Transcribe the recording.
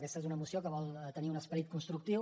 aquesta és una moció que vol tenir un esperit constructiu